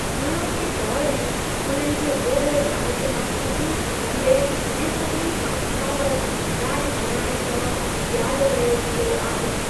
हाणोके दौरु में, उन्हनि खे ओभर भारत मां सभिनी खां लंबे ऐं सभिनी खां स्थावर राॼघराणे तौरु यादि कयो वेंदो आहे।